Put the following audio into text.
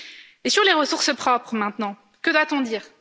Et sur les ressources propres, maintenant, que doit on dire?